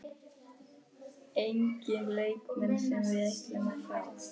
Enginn leikmenn sem við ætlum að fá?